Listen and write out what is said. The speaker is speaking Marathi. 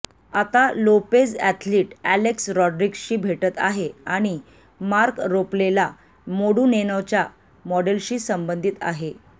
आता लोपेझ अॅथलीट अॅलेक्स रॉड्रिग्जशी भेटत आहे आणि मार्क रोफ्लेला मोडूनेनोच्या मॉडेलशी संबंधित आहे